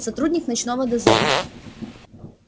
сотрудник ночного дозора